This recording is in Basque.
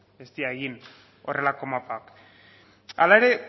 ez dira egin horrelako mapak hala ere